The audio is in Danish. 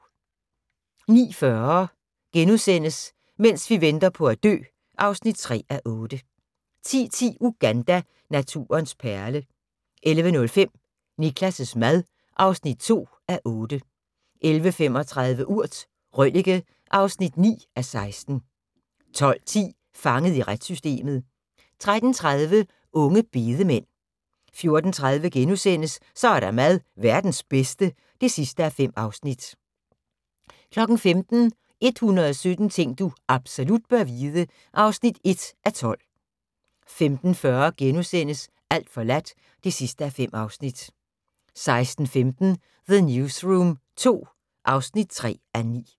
09:40: Mens vi venter på at dø (3:8)* 10:10: Uganda – naturens perle 11:05: Niklas' mad (2:8) 11:35: Urt: Røllike (9:16) 12:10: Fanget i retssystemet 13:30: Unge bedemænd 14:30: Så er der mad - verdens bedste (5:5)* 15:00: 117 ting du absolut bør vide (1:12) 15:40: Alt forladt (5:5)* 16:15: The Newsroom II (3:9)